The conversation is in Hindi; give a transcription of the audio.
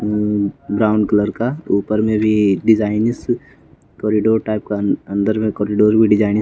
उं ब्राउन कलर का ऊपर में भी डिजाइनिस कॉरिडोर अंदर में कॉरिडोर भी डिजाइनिंग--